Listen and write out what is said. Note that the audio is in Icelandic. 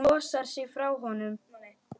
Hún losar sig frá honum.